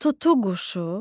Tutuquşu.